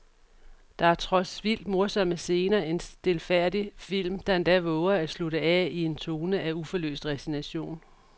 Der er trods vildt morsomme scener en stilfærdig film, der endda vover at slutte af i en tone af uforløst resignation.